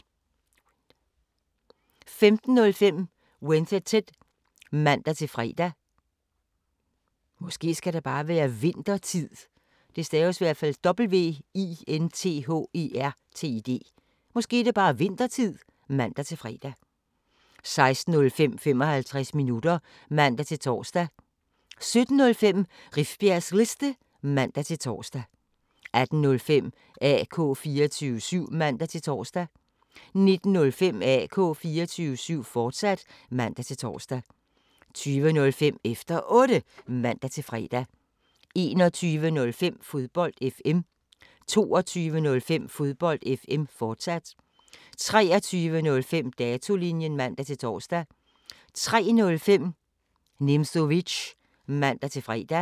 15:05: Winthertid (man-fre) 16:05: 55 minutter (man-tor) 17:05: Rifbjergs Liste (man-tor) 18:05: AK 24syv (man-tor) 19:05: AK 24syv, fortsat (man-tor) 20:05: Efter Otte (man-fre) 21:05: Fodbold FM 22:05: Fodbold FM, fortsat 23:05: Datolinjen (man-tor) 03:05: Nimzowitsch (man-fre)